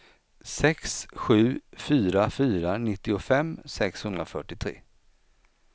sex sju fyra fyra nittiofem sexhundrafyrtiotre